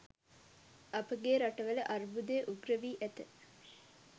අපගේ රටවල අර්බුදය උග්‍ර වී ඇත